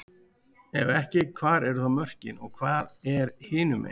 Ef ekki, hvar eru þá mörkin og hvað er hinumegin?